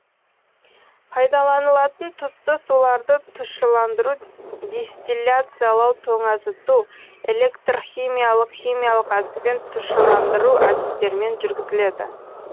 пайдаланылатын тұзды суларды тұщыландыру дистилляциялау тоңазыту электрхимиялық химиялық әдіспен тұщыландыру әдістерімен жүргізіледі